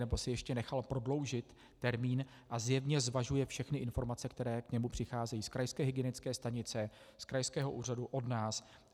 nebo si ještě nechal prodloužit termín a zjevně zvažuje všechny informace, které k němu přicházejí z krajské hygienické stanice, z krajského úřadu, od nás.